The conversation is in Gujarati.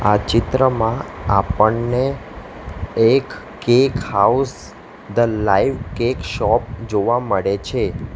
આ ચિત્રમાં આપણને એક cake house the live cake shop જોવા મળે છે.